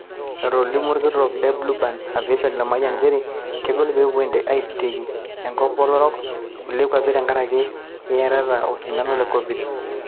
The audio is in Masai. Etolimuo olkitok le Bluebird Aviation Lemayian nchere kegol pepuo intekei enkop oloorok kulie kwapi tenkaraki eyietita oo sindano le Covid.